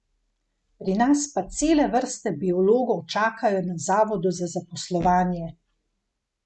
Pri nas pa cele vrste biologov čakajo na zavodu za zaposlovanje!